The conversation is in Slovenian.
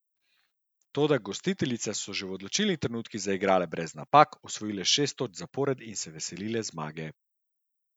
Toda gostiteljice so v odločilnih trenutkih zaigrale brez napak, osvojile šest točk zapored in se veselile zmage.